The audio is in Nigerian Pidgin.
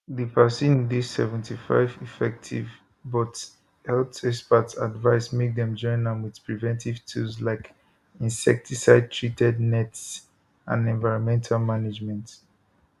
di vaccine dey 75 effective but health experts advise make dem join am wit preventive tools like insecticidetreated nets and environmental management